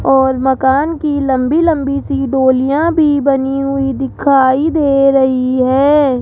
और मकान की लंबी लंबी सी डोलिया भी बनी हुई दिखाई दे रही है।